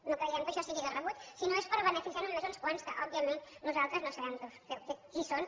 no creiem que això sigui de rebut si no és per beneficiar ne només uns quants que òbviament nosaltres no sabem qui són